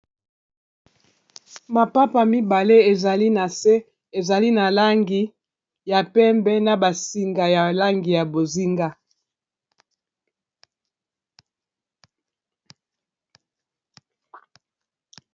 Mapapa mibale ezali na se ezali na langi ya pembe na basinga ya langi ya bozinga